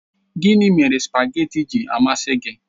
Gịnị mere spageetí ji amasị gị?